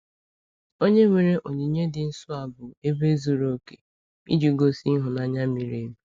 Onye-nwere onyinye dị nsọ a bụ ebe zuru oke iji gosi ịhụnanya miri emi.